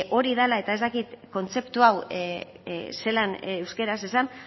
hori dala eta ez dakit kontzeptu hau zelan euskaraz esan